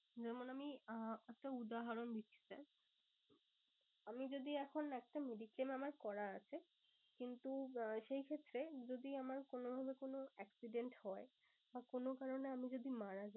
যেমন আমি আহ একটা উদাহরণ দিচ্ছি sir আমি যদি এখন একটা mediclaim আমার করা আছে। কিন্তু আহ সেই ক্ষেত্রে যদি আমার কোনো ভাবে কোনো accident হয়। বা কোনো কারণে আমি যদি মারা যাই